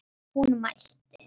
Hún mælti: